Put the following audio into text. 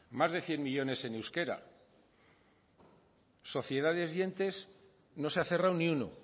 más de cien millónes en euskera sociedades y entes no se ha cerrado ni uno